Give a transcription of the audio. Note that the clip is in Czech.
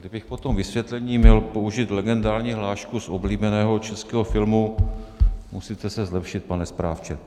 Kdybych po tom vysvětlení měl použít legendární hlášku z oblíbeného českého filmu: "Musíte se zlepšit, pane správce."